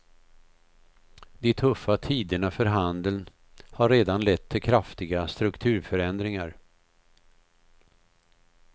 De tuffa tiderna för handeln har redan lett till kraftiga strukturförändringar.